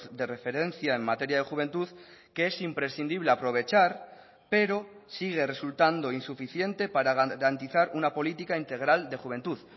de referencia en materia de juventud que es imprescindible aprovechar pero sigue resultando insuficiente para garantizar una política integral de juventud